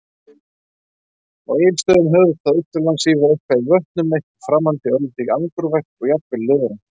Á Egilsstöðum, höfuðstað Austurlands, svífur eitthvað yfir vötnum- eitthvað framandi, örlítið angurvært og jafnvel ljóðrænt.